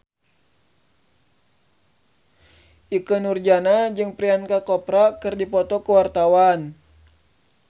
Ikke Nurjanah jeung Priyanka Chopra keur dipoto ku wartawan